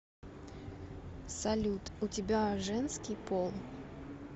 салют у тебя женский пол